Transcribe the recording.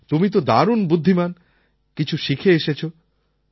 তুমি তো দারুণ বুদ্ধিমান কিছু শিখে এসেছো